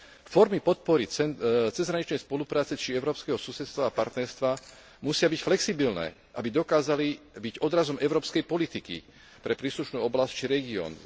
Formy podpory cezhraničnej spolupráce či európskeho susedstva a partnerstva musia byť flexibilné, aby dokázali byť odrazom európskej politiky pre príslušnú oblasť či región.